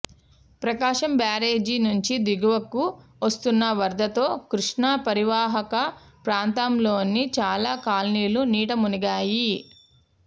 ప్రకాశం barrage నుంచి దిగువకు వస్తున్న వరదతో కృష్ణా పరీవాహక ప్రాంతంలోని చాలా కాలనీలు నీట మునిగాయి